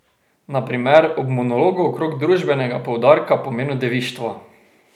Na primer ob monologu okrog družbenega poudarka pomenu devištva.